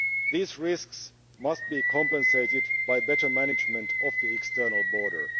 These risks must be compensated by better management of the external border.